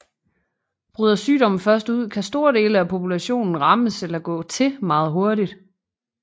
Bryder sygdomme først ud kan store dele af populationen rammes eller gå til meget hurtigt